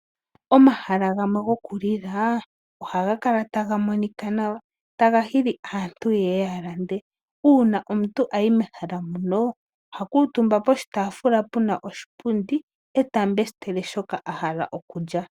Omahala gamwe gokulila ohaga kala taga monika nawa, taga hili aantu ye ye ya lande. Uuna omuntu a yi mehala muno oha kuutumba poshitaafula pu na oshipundi e ta mbesitele shoka a hala okulya.